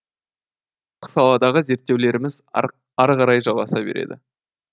саладағы зерттеулеріміз арықарай жалғаса береді